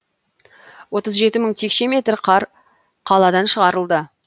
отыз жеті мың текше метр қар қаладан шығарылды